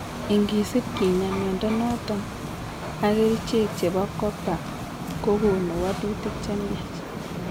ingesip kinyaa mnyondo noton ak kerichek chebo copper kogonu walutik chemyach